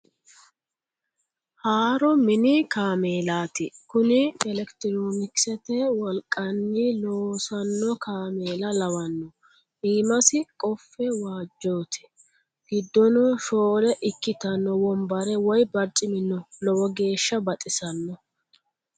Haaro mini kaameelati, kuni elekitironkisete wolqanni loossano kaameella lawano iimasi qofe waajoti giddono shoole ikkittano wombare woyi barcimi no lowo geehsha baxisanoho.